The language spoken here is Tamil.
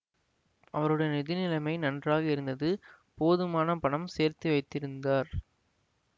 அவருடைய நிதி நிலைமை நன்றாக இருந்தது போதுமான பணம் சேர்த்து வைத்திருந்தார்